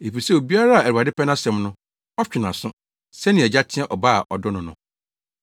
Efisɛ obiara a Awurade pɛ nʼasɛm no, ɔtwe nʼaso sɛnea agya teɛ ɔba a ɔdɔ no no.”